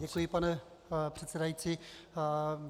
Děkuji, pane předsedající.